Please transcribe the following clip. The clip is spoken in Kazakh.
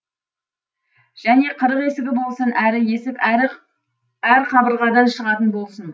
және қырық есігі болсын әр есік әр қабырғадан шығатын болсын